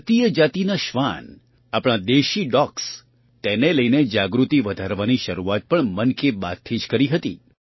ભારતીય જાતિના શ્વાન આપણા દેશી ડૉગ્સ તેને લઈને જાગૃતિ વધારવાની શરૂઆત પણ મન કી બાતથી જ કરી હતી